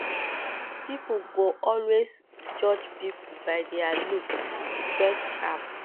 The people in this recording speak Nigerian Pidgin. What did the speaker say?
pipo go always judge pipo by their looks dress sharp